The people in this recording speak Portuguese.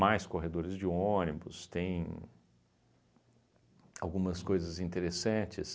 corredores de ônibus, tem algumas coisas interessantes.